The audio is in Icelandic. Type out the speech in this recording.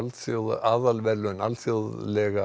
aðalverðlaun alþjóðlega